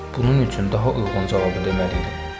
Bunun üçün daha uyğun cavabı deməliydim.